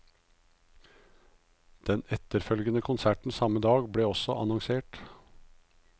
Den etterfølgende konserten samme dag ble også annonsert.